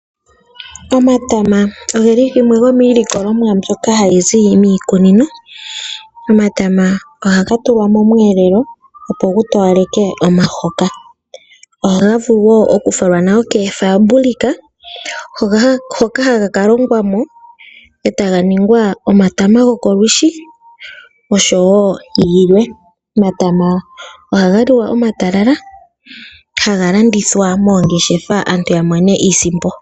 Omatama ogeli gamwe gomiilikolomwa mbyoka hayi zi miikununo. Omatama ohaga tula mosheelelwa opo gu towaleke omahoka. Ohaga vulu okufalwa koofaabulika hoka haga ka longwa etaga ningwa omatama gokolwiishi oshowoo yilwe. Omatama ohaga liwa omatalala, haga landithwa moongeshefa aantu yamone iisimpo.